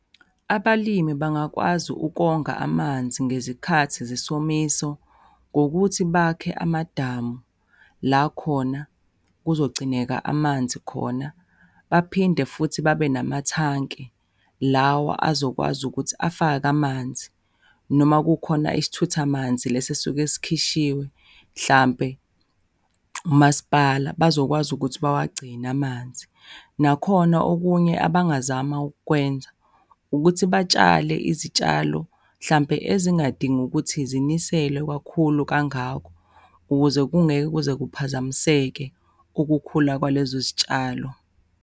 Abalimi bangakwazi ukonga amanzi ngezikhathi zesomiso, ngokuthi bakhe amadamu la khona kuzogcineka amanzi khona. Baphinde futhi babe namathanki lawa azokwazi ukuthi afake amanzi, noma kukhona isithuthamanzi, lesi esuke sikhishiwe mhlampe umasipala, bazokwazi ukuthi bawagcine amanzi. Nakhona okunye abangazama ukwenza, ukuthi batshale izitshalo hlampe ezingadingi ukuthi ziniselwe kakhulu kangako ukuze kungeke kuze kuphazamiseke ukukhula kwalezo zitshalo.